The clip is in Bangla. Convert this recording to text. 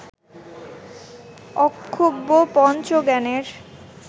অক্ষোভ্য পঞ্চজ্ঞানের